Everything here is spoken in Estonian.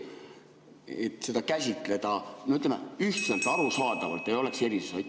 Seda võiks käsitleda, ütleme, üheselt, arusaadavalt, et ei oleks erisusi.